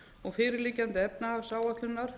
og fyrir liggjandi efnahagsáætlunar